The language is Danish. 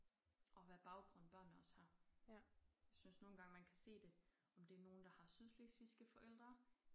Og hvad baggrund børnene også har. Jeg synes nogle gange man kan se det om det nogle der har sydslesvigske forældre